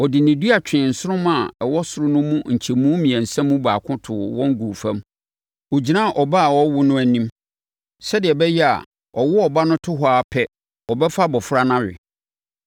Ɔde ne dua twee nsoromma a ɛwɔ ɔsoro no mu nkyɛmu mmiɛnsa mu baako too wɔn guu fam. Ɔgyinaa ɔbaa a ɔrewo no anim, sɛdeɛ ɛbɛyɛ a ɔwo ɔba no to hɔ ara pɛ, ɔbɛfa abɔfra no awe.